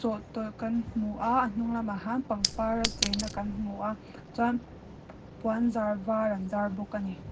chawhtawlh kan hmua a hnung lamah han pangpar a cheina kan hmua chuan puanzar var an zar bawk ani.